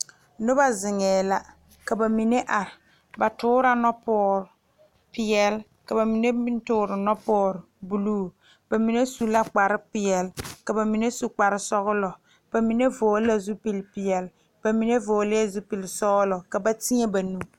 Noba zeŋee la ka ba mine are ba toorɔ nɔpɔɔrɔ peɛle ka ba mine meŋ toore nɔpɔɔ buluu ba mine su la kpar peɛle ka ba mine su kpar sɔgelɔ ba mine vɔgele la zupili peɛle ba mine vɔgelɛɛ zupili sɔgelɔ ka ba mine teɛ ba nu